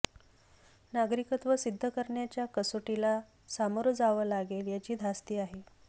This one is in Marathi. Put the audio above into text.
नागरिकत्व सिद्ध करण्याच्या कसोटीला सामोरं जावं लागेल याची धास्ती आहे